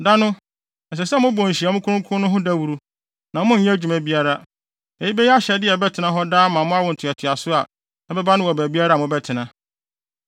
Da no, ɛsɛ sɛ mobɔ nhyiamu kronkron no ho dawuru, na monnyɛ adwuma biara. Eyi bɛyɛ ahyɛde a ɛbɛtena hɔ daa ama awo ntoatoaso a ɛbɛba no wɔ baabiara a mobɛtena.